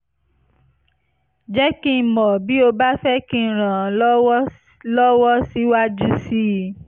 jẹ́ kí n mọ̀ bí o bá fẹ́ kí n ràn ọ́ lọ́wọ́ lọ́wọ́ síwájú sí i